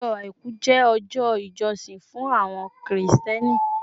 Ọjọ́ Àìkú jẹ́ ọjọ́ ìjọsìn fún àwọn Kírísítẹ́nì